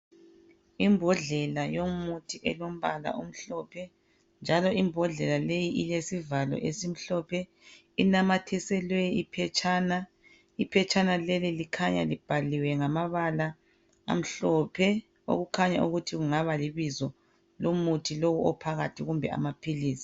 Imbodlela yomuthi elombala omhlophe njalo imbodlela leyi ilesivalo esimhlophe. Inamathiselwe iphetshana. Iphetshana leli likhanya libhaliwe ngamabala amhlophe okukhanya ukuthi kungaba libizo lomuthi lowu ophakathi kumbe amaphilisi.